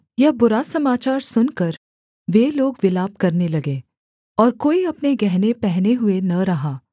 यह बुरा समाचार सुनकर वे लोग विलाप करने लगे और कोई अपने गहने पहने हुए न रहा